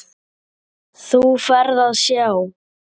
Þú ferð hjá